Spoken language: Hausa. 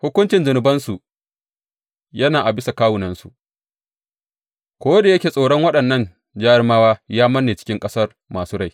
Hukuncin zunubansu yana a bisa ƙasusuwansu, ko da yake tsoron waɗannan jarumawa ya manne cikin ƙasar masu rai.